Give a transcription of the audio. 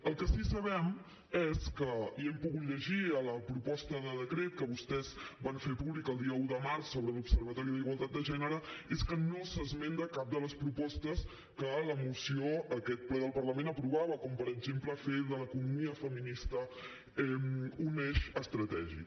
el que sí que sabem i ho hem pogut llegir a la proposta de decret que vostès van fer públic el dia un de març sobre l’observatori de la igualtat de gènere és que no s’esmenta cap de les propostes que la moció d’aquest ple del parlament aprovava com per exemple fer de l’economia feminista un eix estratègic